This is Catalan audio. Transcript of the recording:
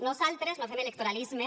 nosaltres no fem electoralisme